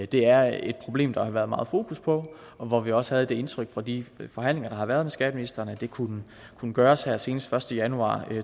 det er et problem som der har været meget fokus på og hvor vi også havde det indtryk fra de forhandlinger der har været med skatteministeren at det kunne gøres her senest den første januar